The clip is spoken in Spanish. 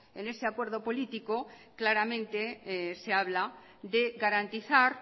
en ese acuerdo político claramente se habla de garantizar